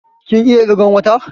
Kin iya ƙirgan wata?